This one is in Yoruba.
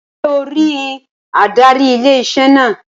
Sé o rí adarí ilé-iṣẹ́ náà?